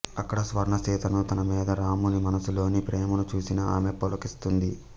అక్కడ స్వర్ణసీతను తనమీద రాముని మనసులోని ప్రేమను చూసిన ఆమె పులకిస్తుంది